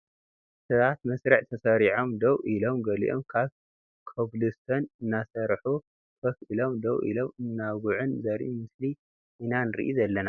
ሰባት መስርዕ ተሰሪዖም ደው ኢሎም ገሊኦም ድማ ኮብልስቶን እናሰርሑ ኮፍ ኢሎም ደው ኢሎም እናውግዑን ዘርኢ ምስሊ ኢና ንርኢ ዘለና ።